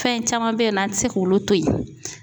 Fɛn in caman bɛ yen nɔ an tɛ se k'olu to yen .